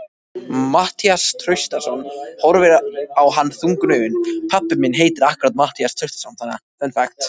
Matthías Traustason horfir á hann þungum augum.